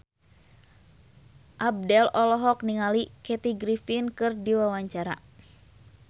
Abdel olohok ningali Kathy Griffin keur diwawancara